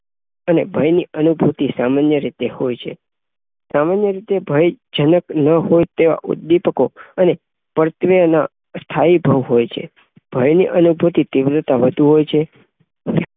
અને ભયની અનુંભુતી સામાન્ય રીતે હોય છે. સામાન્ય રીતે ભય જનક ન હોય તો બીતકો અને પણ એમાં સ્થાઈ હોય છે ભયની અનુભૂતિ તીવ્રતા વધુ હોય છે.